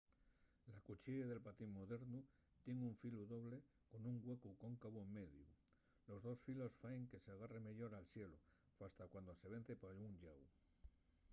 la cuchiella del patín modernu tien un filu doble con un güecu cóncavu en mediu. los dos filos faen que s’agarre meyor al xelu fasta cuando se vence pa un llau